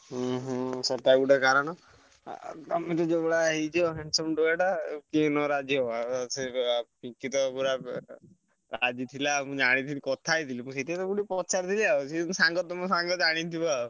ହୁଁ ହୁଁ ସେଟା ଗୋଟେ କାରଣ। ଆଉ ତମେ ବି ଯୋଉଭଳିଆ ହେଇଛ handsome ଟୋକାଟା ଆଉ କିଏ ନ ରାଜି ହବ ଆଉ ସିଏ ତ ପିଙ୍କି ତ ପୁରା ରାଜି ଥିଲା ମୁଁ ଜାଣିଥିଲି କଥା ହେଇଥିଲି। ମୁଁ ସେଇଥିପାଇଁ ତମୁକୁ ଗୋଟେ ପଚାରିଦେବି ଆଉ ସେ ଯୋଉ ସାଙ୍ଗ ତମ ସାଙ୍ଗ ଜାଣିଥିବ ଆଉ।